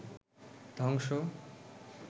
ধ্বংস